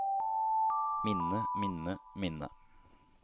minne minne minne